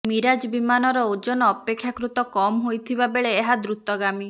Mirage ବିମାନର ଓଜନ ଅପେକ୍ଷାକୃତ କମ ହୋଇଥିବା ବେଳେ ଏହା ଦୃତଗାମୀ